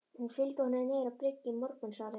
Hún fylgdi honum niður á bryggju í morgunsárið.